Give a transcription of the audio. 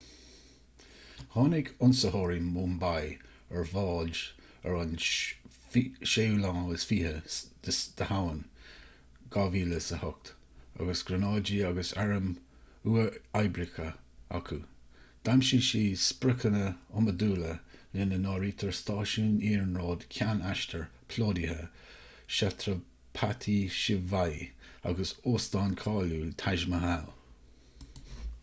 tháinig ionsaitheoirí mumbai ar bhád ar an 26 samhain 2008 agus gránáidí agus airm uathoibríocha acu d'aimsigh siad spriocanna iomadúla lena n-áirítear stáisiún iarnróid ceann aistir plódaithe chhatrapati shivaji agus óstán cáiliúil taj mahal